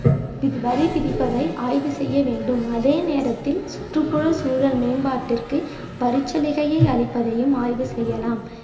இது வரி பிடிப்பதை ஆய்வு செய்ய வேண்டும் அதே நேரத்தில் சுற்றுப்புற சூழல் மேம்பாட்டிற்கு வரிக்சலுகையை அளிப்பதையும் ஆய்வு செய்யலாம்